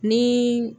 Ni